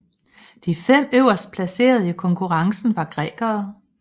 De fem øverstplacerede i konkurrencen var grækere